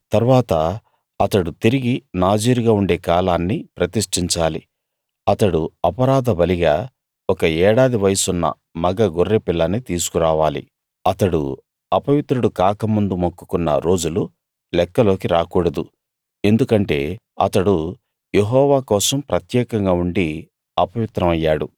తరువాత అతడు తిరిగి నాజీరుగా ఉండే కాలాన్ని ప్రతిష్టించాలి అతడు అపరాధ బలిగా ఒక ఏడాది వయసున్న మగ గొర్రె పిల్లని తీసుకురావాలి అతడు అపవిత్రుడు కాకముందు మొక్కుకున్న రోజులు లెక్కలోకి రాకూడదు ఎందుకంటే అతడు యెహోవా కోసం ప్రత్యేకంగా ఉండి అపవిత్రం అయ్యాడు